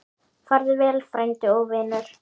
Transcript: Farðu vel, frændi og vinur.